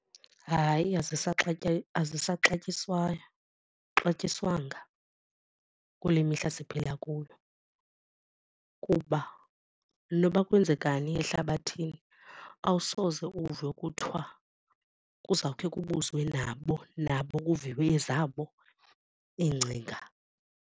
Hayi asisaxatyiswayo, xatyiswanga kule mihla siphila kuyo kuba noba kwenzekani ehlabathini awusoze uve kuthiwa kuzawukhe kubuzwe nabo nabo kuviwe ezabo iingcinga.